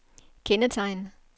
kendetegn